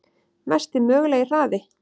Mesti mögulegi hraði?